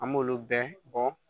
An m'olu bɛɛ bɔ